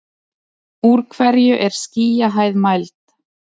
úr hverju er skýjahæð mæld